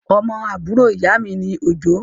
Ọmọ àbúrò ìyámi ni Òjó.